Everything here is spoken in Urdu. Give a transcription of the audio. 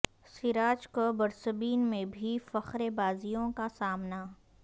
سراج کو برسبین میں بھی فقرے بازیوں کا سامنا